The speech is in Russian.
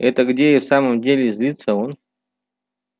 это где и в самом деле злится он